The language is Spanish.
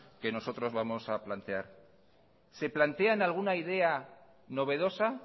que nosotros vamos plantear se plantean alguna idea novedosa